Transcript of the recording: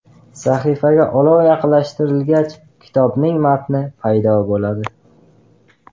Sahifaga olov yaqinlashtirilgach, kitobning matni paydo bo‘ladi.